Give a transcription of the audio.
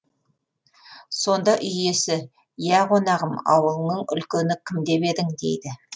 сонда үй иесі ия қонағым ауылыңның үлкені кім деп едің дейді